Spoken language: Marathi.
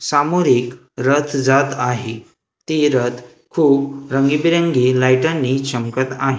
समोर एक रथ जात आहे ते रथ खूप रंगीबेरंगी लाईटांनी चमकत आहे.